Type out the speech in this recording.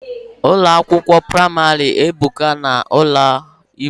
Ụlọ akwụkwọ praịmarị ebuka na ala Igbo